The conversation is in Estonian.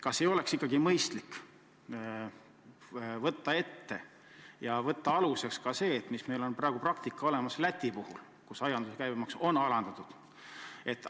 Kas ei oleks ikkagi mõistlik võtta aluseks Läti praktika, kus aiandussaaduste käibemaksu on alandatud?